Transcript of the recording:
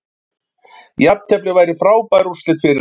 Jafntefli væri frábær úrslit fyrir okkur